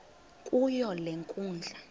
kuyo le nkundla